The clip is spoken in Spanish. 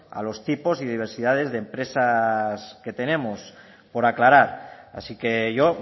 a los tipos y diversidades de empresas que tenemos por aclarar así que yo